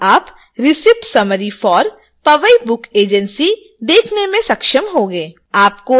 अब आप receipt summary for powai book agency देखने में सक्षम होंगे